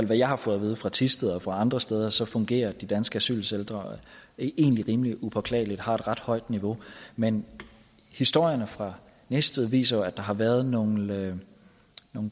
det jeg har fået at vide fra thisted og fra andre steder så fungerer de danske asylcentre egentlig rimelig upåklageligt og har et ret højt niveau men historierne fra næstved viser jo at der har været nogle